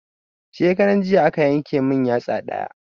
Shekaran jiya aka yanke mun yatsa ɗaya